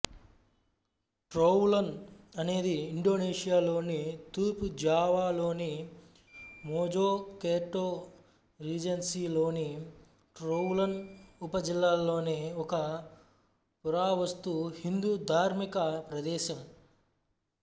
Trowulan అనేది ఇండోనేషియాలోని తూర్పు జావాలోని మోజోకెర్టో రీజెన్సీలోని ట్రోవులన్ ఉపజిల్లాలోని ఒక పురావస్తు హిందు ధార్మిక ప్రదేశం